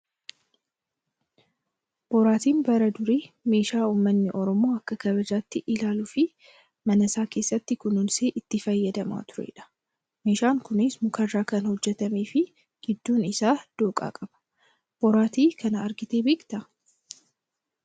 Boraatiin bara durii meeshaa uummanni oromoo akka kabajaatti ilaaluu fi mana isaa keessatti kunuunsee itti fayyadamaa turedha. Meeshaan kunis mukarraa kan hojjatamee fi gidduun isaa dhooqa qaba. Boraatii kana agartee beektaa?